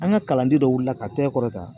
An ka kalanden dɔ wulila k'a tɛgɛ kɔrɔta